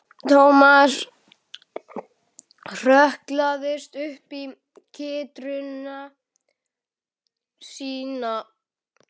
Thomas hrökklaðist upp í kytruna sína.